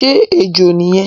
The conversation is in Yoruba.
Ṣé ejò ni yẹn?